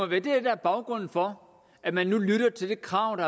det der er baggrunden for at man nu lytter til kravet